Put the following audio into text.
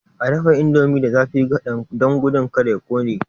A dafa indomie da zafi kadan don gudun kada ya kone.